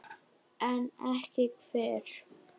En ekki hver?